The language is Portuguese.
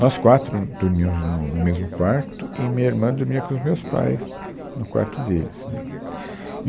Nós quatro dormíamos no no mesmo quarto e minha irmã dormia com os meus pais no quarto deles, né. E